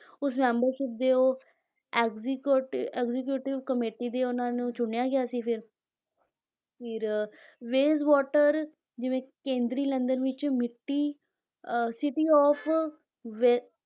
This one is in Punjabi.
ਉਸ membership ਦੇ ਉਹ ਐਜਜੀਕੋਟੀ executive committee ਦੇ ਉਹਨਾਂ ਨੂੰ ਚੁਣਿਆ ਗਿਆ ਸੀ ਫਿਰ ਫਿਰ ਵੇਜ਼ਵਾਟਰ ਜਿਵੇਂ ਕੇਂਦਰੀ ਲੰਦਨ ਵਿੱਚ ਮਿੱਟੀ ਅਹ city of ਵੇ